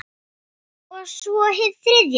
Og svo- hið þriðja sinn.